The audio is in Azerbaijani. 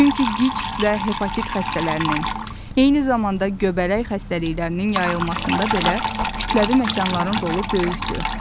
Çünki QİÇS və hepatit xəstəliklərinin, eyni zamanda göbələk xəstəliklərinin yayılmasında belə kütləvi məkanların rolu böyükdür.